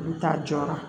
U bɛ taa jɔra